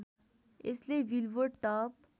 यसले billboard top